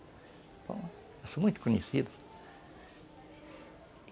Bom, eu sou muito conhecido.